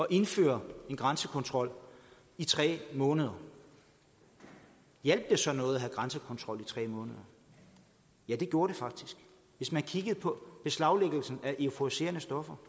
indføre en grænsekontrol i tre måneder hjalp det så noget at have grænsekontrol i tre måneder ja det gjorde det faktisk hvis man kigger på beslaglæggelsen af euforiserende stoffer